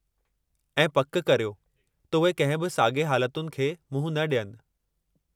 ऐं पक करियो त उहे कंहिं बि साॻिए हालतुनि खे मुंहुं न ॾियनि।